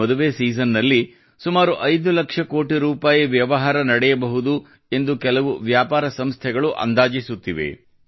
ಈ ಮದುವೆ ಸೀಸನ್ ನಲ್ಲಿ ಸುಮಾರು 5 ಲಕ್ಷ ಕೋಟಿ ರೂಪಾಯಿ ವ್ಯವಹಾರ ನಡೆಯಬಹುದು ಎಂದು ಕೆಲವು ವ್ಯಾಪಾರ ಸಂಸ್ಥೆಗಳು ಅಂದಾಜಿಸುತ್ತಿವೆ